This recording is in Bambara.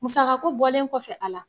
Musakako bɔlen kɔfɛ a la